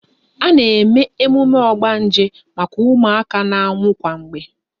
A na eme emume ogbanje maka ụmụaka na-anwụ kwa mgbe